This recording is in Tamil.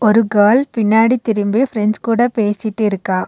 ஒரு கேர்ள் பின்னாடி திரும்பி பிரெண்ட்ஸ் கூட பேசிட்டிருக்கா.